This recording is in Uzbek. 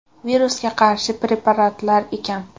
Virusga qarshi preparatlar ekan.